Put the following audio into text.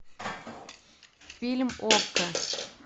фильм окко